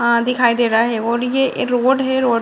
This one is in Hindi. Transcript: हां दिखाई दे रहा है ये रोड हैं रोड --